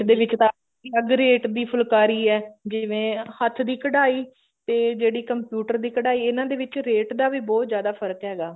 ਦੇ ਵਿੱਚ ਤਾਂ ਅਗਰ weight ਦੀ ਫੁਲਕਾਰੀ ਐ ਹੱਥ ਦੀ ਕਡਾਈ ਤੇ ਜਿਹੜੀ computer ਦੀ ਕਢਾਈ ਇਹਨਾਂ ਦੇ ਵਿੱਚ rate ਦਾ ਵੀ ਬਹੁਤ ਜਿਆਦਾ ਫਰਕ਼ ਹੈਗਾ